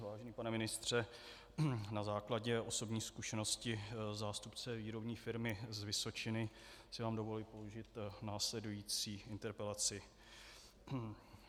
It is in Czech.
Vážený pane ministře, na základě osobní zkušenosti zástupce výrobní firmy z Vysočiny si vám dovoluji položit následující interpelaci.